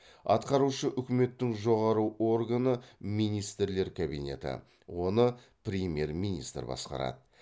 атқарушы үкіметтің жоғары органы министрлер кабинеті оны премьер министр басқарады